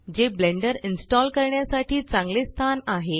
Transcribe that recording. जे Blender install करण्यासाठी चांगले स्थान आहे